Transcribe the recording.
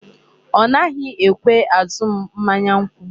Ọ naghi ekwe azụ m mmanya nkwụ.